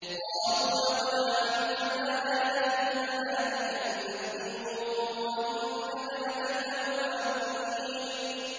قَالُوا لَقَدْ عَلِمْتَ مَا لَنَا فِي بَنَاتِكَ مِنْ حَقٍّ وَإِنَّكَ لَتَعْلَمُ مَا نُرِيدُ